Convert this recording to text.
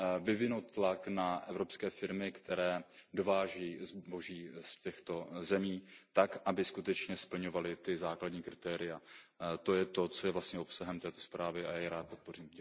vyvinout tlak na evropské firmy, které dovážejí zboží z těchto zemí, aby skutečně splňovaly ta základní kritéria. To je to, co je vlastně obsahem této zprávy, a já ji rád podpořím.